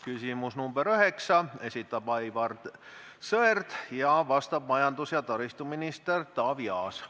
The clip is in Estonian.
Küsimus nr 9: esitab Aivar Sõerd ja vastab majandus- ja taristuminister Taavi Aas.